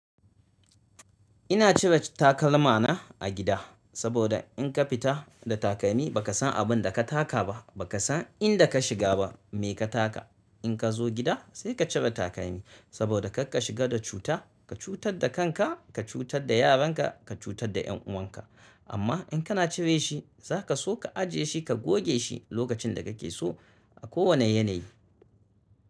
Ina cire takalma na a gida saboda in ka fita da takalmi, ba ka san abin da ka taka ba, ba ka san inda ka shiga ba. Me ka taka? In ka zo gida sai ka cire takalmi saboda karka shiga da cuta, ka cutar da kanka, ka cutar da yaranka, ka cutar da yan uwanka. Amma in kana cire shi zaka so ka ajiye shi, ka goge shi lokacin da kake so a kowane yanayi.